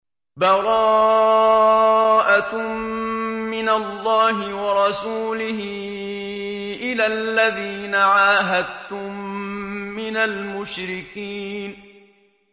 بَرَاءَةٌ مِّنَ اللَّهِ وَرَسُولِهِ إِلَى الَّذِينَ عَاهَدتُّم مِّنَ الْمُشْرِكِينَ